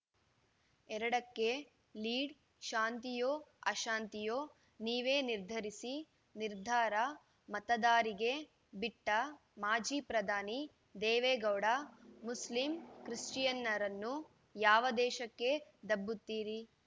ಎರಡಕ್ಕೆ ಲೀಡ್‌ ಶಾಂತಿಯೋಅಶಾಂತಿಯೋ ನೀವೇ ನಿರ್ಧರಿಸಿ ನಿರ್ಧಾರ ಮತದಾರರಿಗೆ ಬಿಟ್ಟಮಾಜಿ ಪ್ರಧಾನಿ ದೇವೇಗೌಡ ಮುಸ್ಲಿಂ ಕ್ರಿಶ್ಚಿಯನ್ನರನ್ನು ಯಾವ ದೇಶಕ್ಕೆ ದಬ್ಬುತ್ತೀರಿ